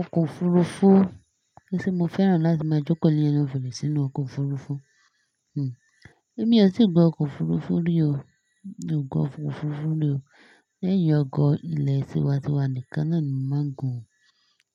Ọkọ̀ òfurufú ńtí mo fẹ́ràn láti máa jókòó nínú òfúru sí inú ọkọ̀ òfurufú. Èmi ò tíì gun ọkọ̀ òfurufú rí o, mi ò gun ọkọ̀ òfurufú rí o. Lẹ́yìn ọkọ̀ ilé tí ń wa ti wà ní kan náà ni mo máa gùn.